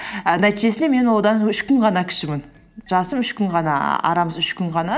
і нәтижесінде мен одан үш күн ғана кішімін жасым үш күн ғана ііі арамыз үш күн ғана